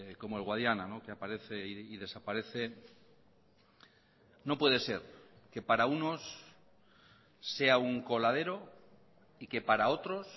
como el guadiana que aparece y desaparece no puede ser que para unos sea un coladero y que para otros